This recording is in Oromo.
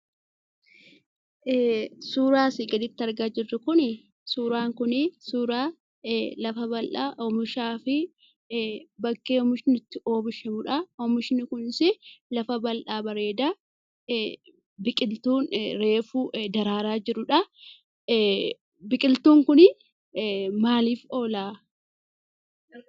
Suuraa asii gaditti argaa jirru Kuni, suuraa kuni, suuraa lafa bal'aa oomishaa fi bakkee oomishni itti oomishamudha. Oomishni kunis lafa bal'aa bareedaa, biqiltuun reefu daraaraa jirudhaa, biqiltuun kun maaliif oolaa?